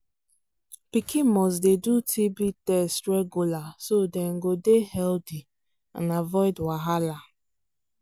pikin must dey do tb test regular so dem go dey healthy and avoid wahala